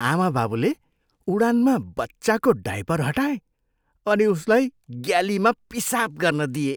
आमाबाबुले उडानमा बच्चाको डायपर हटाए अनि उसलाई ग्यालीमा पिसाब गर्न दिए।